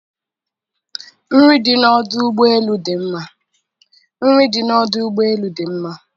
nri dị na ọdụ ụgbọ elu dị mma.